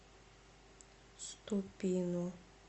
ступино